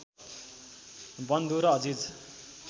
बन्धु र अजिज